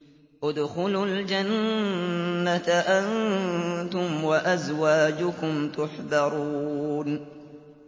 ادْخُلُوا الْجَنَّةَ أَنتُمْ وَأَزْوَاجُكُمْ تُحْبَرُونَ